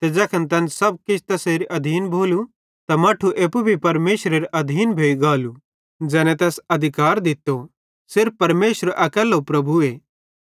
ते सब किछ परमेशरेरे मट्ठेरे अधिकारे मां केरनेरे बाद तैखन तै अपनो आप रोड़े च़ारे परमेशरेरे अधिकारे मां केरेलो ज़ैने तैस अधिकार दित्तो सिर्फ परमेशर अकैल्लो प्रभुए